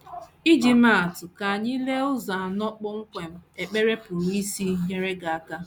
Iji maa atụ, ka anyị lee ụzọ anọ kpọmkwem ekpere pụrụ isi nyere gị aka.